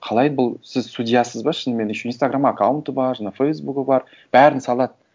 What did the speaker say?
қалай бұл сіз судьясіз ба шынымен еще инстаграм аккаунты бар жаңағы фейсбугі бар бәрін салады